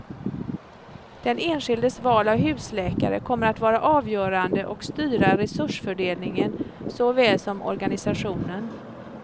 Den enskildes val av husläkare kommer att vara avgörande och styra resursfördelningen, såväl som organisationen.